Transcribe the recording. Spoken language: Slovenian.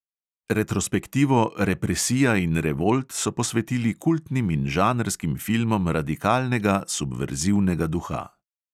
Retrospektivo "represija in revolt" so posvetili kultnim in žanrskim filmom radikalnega, subverzivnega duha.